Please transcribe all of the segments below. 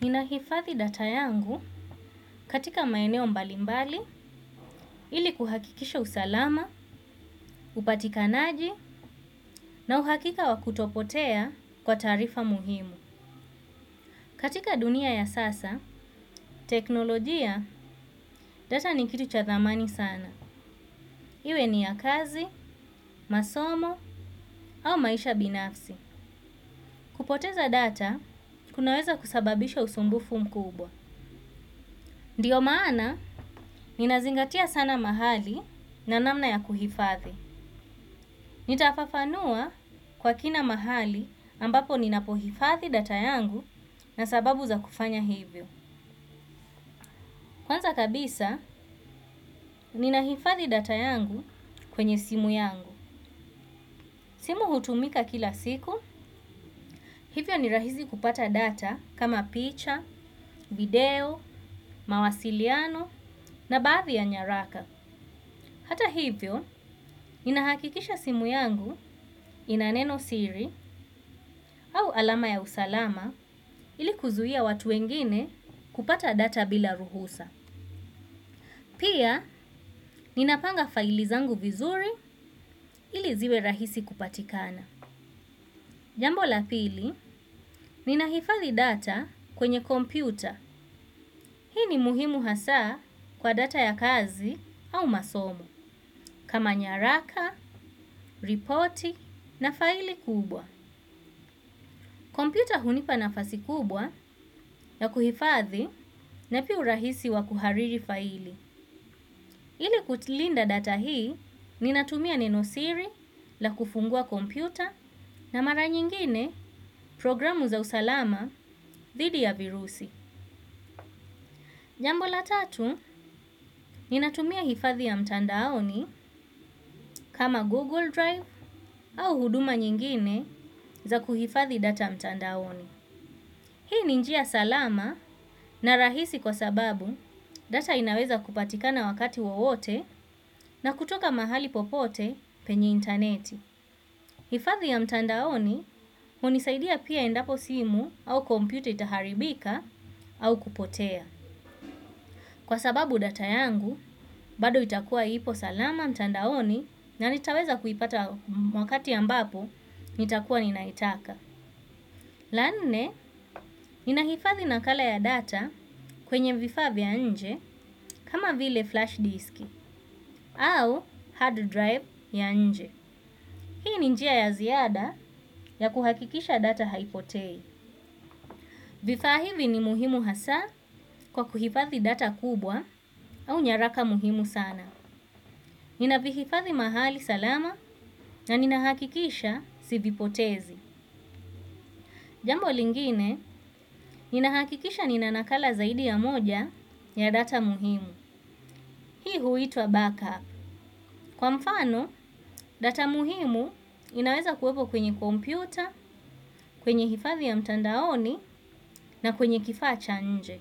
Ninahifathi data yangu katika maeneo mbalimbali, ili kuhakikisha usalama, upatikanaji, na uhakika wakutopotea kwa tarifa muhimu. Katika dunia ya sasa, teknolojia, data ni kitu cha thamani sana. Iwe ni ya kazi, masomo, au maisha binafsi. Kupoteza data, kunaweza kusababisha usumbufu mkubwa. Ndio maana, ninazingatia sana mahali na namna ya kuhifathi. Nitafafanua kwa kina mahali ambapo ninapohifathi data yangu na sababu za kufanya hivyo. Kwanza kabisa, ninahifathi data yangu kwenye simu yangu. Simu hutumika kila siku, hivyo ni rahizi kupata data kama picha, video, mawasiliano na badhi ya nyaraka. Hata ivyo ninahakikisha simu yangu inaneno siri au alama ya usalama hili kuzuia watu wengine kupata data bila ruhusa pia ninapanga faili zangu vizuri ili ziwe rahisi kupatikana. Jambo la pili, ninahifadi data kwenye kompyuta. Hii ni muhimu hasaa kwa data ya kazi au masomo. Kama nyaraka ripoti na faili kubwa kompiuta hunipa nafasi kubwa ya kuhifadhi na pi urahisi wa kuhariri faili. Ile kulinda data hii ninatumia neno siri la kufungua kompiuta na mara nyingine programu za usalama dhidi ya virusi. Jambo la tatu ninatumia hifathi ya mtandaoni kama Google Drive au huduma nyingine za kuhifadhi data mtandaoni. Hii ni njia salama na rahisi kwa sababu data inaweza kupatika na wakati wawote na kutoka mahali popote penye interneti. Hifadhi ya mtandaoni unisaidia pia endapo simu au komputa itaharibika au kupotea. Kwa sababu data yangu, bado itakuwa ipo salama mtandaoni na nitaweza kuipata wakati ambapo nitakuwa ninaitaka. La nne, ninahifadhi nakala ya data kwenye vifa vya nje kama vile flash disk au hard drive ya nje. Hii ni njia ya ziada ya kuhakikisha data haipotei. Vifa hivi ni muhimu hasa kwa kuhifadhi data kubwa au nyaraka muhimu sana. Inahifadhi mahali salama na ninahakikisha sivipotezi. Jambo lingine, ninahakikisha ninanakala zaidi ya moja ya data muhimu. Hii huiitwa backup. Kwa mfano, data muhimu inaweza kuwepo kwenye kompyuta, kwenye hifadhi ya mtandaoni na kwenye kifa cha nje.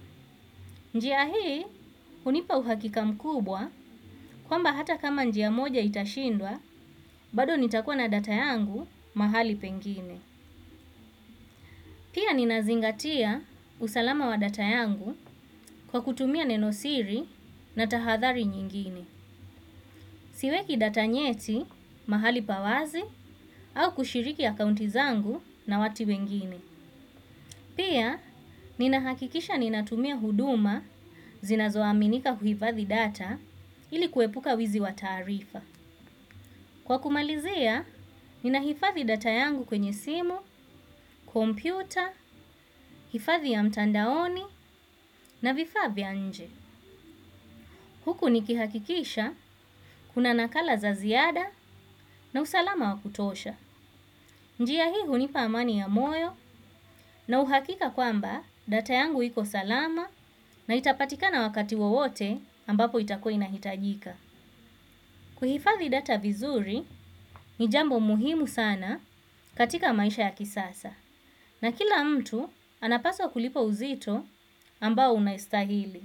Njia hii, unipa uhakika mkubwa kwamba hata kama njia moja itashindwa, bado nitakua na data yangu mahali pengine. Pia ninazingatia usalama wa data yangu kwa kutumia nenosiri na tahadhari nyingine. Siweki data nyeti, mahali pa wazi, au kushiriki akaunti zangu na watu wengine. Pia, nina hakikisha ninatumia huduma zinazoaminika huifadhi data ilikuepuka wizi wa tarifa. Kwa kumalizea, nina hifadhi data yangu kwenye simu, kompyuta, hifadhi ya mtandaoni na vifa vya nje. Huku nikihakikisha kuna nakala za ziada na usalama wakutosha. Njia hii hunipa amani ya moyo na uhakika kwamba data yangu iko salama na itapatika na wakati wowote ambapo itakuwa inahitajika. Kuhifadhi data vizuri ni jambo muhimu sana katika maisha ya kisasa. Na kila mtu anapaswa kulipa uzito ambao unahistahili.